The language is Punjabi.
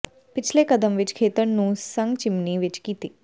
ਪਿਛਲੇ ਕਦਮ ਵਿੱਚ ਖੇਤਰ ਨੂੰ ਸੰਘ ਚਿਮਨੀ ਵਿੱਚ ਕੀਤੀ